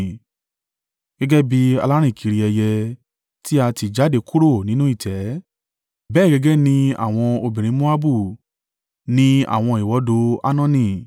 Gẹ́gẹ́ bí alárìnkiri ẹyẹ tí a tì jáde kúrò nínú ìtẹ́, bẹ́ẹ̀ gẹ́gẹ́ ni àwọn obìnrin Moabu ní àwọn ìwọdò Arnoni.